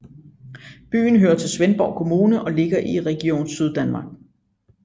Byen hører til Svendborg Kommune og ligger i Region Syddanmark